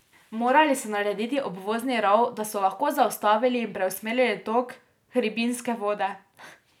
Morali so narediti obvozni rov, da so lahko zaustavili in preusmerili tok hribinske vode.